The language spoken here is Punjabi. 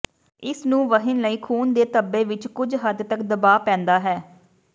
ਇਸ ਨੂੰ ਵਹਿਣ ਲਈ ਖੂਨ ਦੇ ਧੱਬੇ ਵਿਚ ਕੁਝ ਹੱਦ ਤਕ ਦਬਾਅ ਪੈਂਦਾ ਹੈ